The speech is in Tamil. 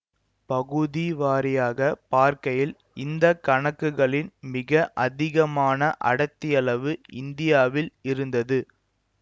பகுதி வாரியாகப் பார்க்கையில் இந்த கணக்குகளின் மிக அதிகமான அடர்த்தியளவு இந்தியா வில் இருந்தது